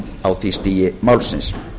á því stigi málsins